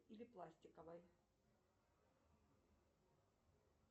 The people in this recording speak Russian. или пластиковой